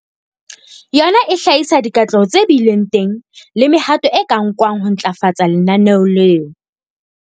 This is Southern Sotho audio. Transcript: Yona e hlahisa dikatleho tse bileng teng le mehato e ka nkwang ho ntlafatsa lenaneo leo.